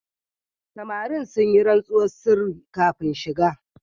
Samarin sun yi rantsuwar sirri kafin shiga.